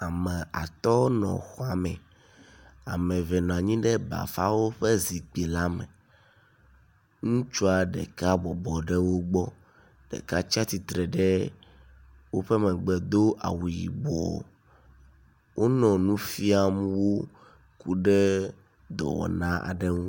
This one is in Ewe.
Ame atɔ nɔ xɔame. Ame eve nɔ anyi ɖe bafawo ƒe zikpui la me. Ŋutsua ɖeka bɔbɔ ɖe wo gbɔ, ɖeka tsi atsitre ɖe woƒe megbe do awu yibɔ. Wonɔ nu fiam wo ku ɖe dɔwɔna aɖo ŋu.